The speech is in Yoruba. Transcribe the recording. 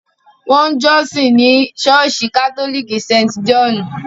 Wọn ń jọ́sìn ní Ṣọ́ọ̀ṣì Katólíkì St. Jòhnù.